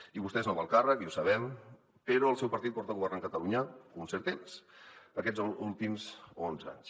i vostè és nova al càrrec i ho sabem però el seu partit porta governant catalunya un cert temps aquests últims onze anys